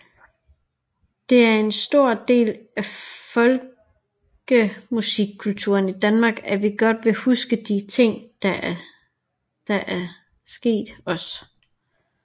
Det er en stor del af folkemusikkulturen i Danmark at vi godt vil huske de ting der er sket os